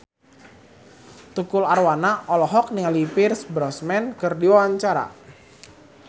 Tukul Arwana olohok ningali Pierce Brosnan keur diwawancara